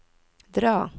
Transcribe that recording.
dra